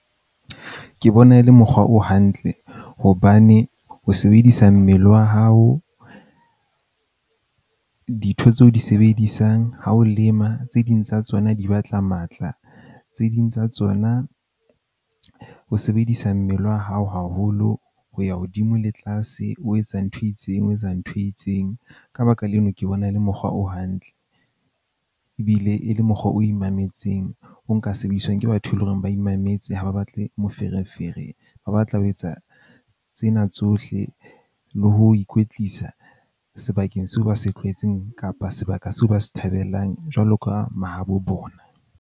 Ke bona e le mokgwa o hantle hobane ho sebedisa mmele wa hao, ditho tseo di sebedisang ha o lema, tse ding tsa tsona di batla matla. Tse ding tsa tsona, o sebedisa mmele wa hao haholo ho ya hodimo le tlase. O etsa ntho e itseng o etsa ntho e itseng. Ka baka leno ke bona e le mokgwa o hantle ebile e le mokgwa o imametseng. O nka sebediswang ke batho ntho e leng hore ba imametse. Ha ba batle moferefere, ba batla ho etsa tsena tsohle le ho ikwetlisa sebakeng seo ba se tlwaetseng kapa sebaka seo ba se thabelang jwalo ka mahabo bona.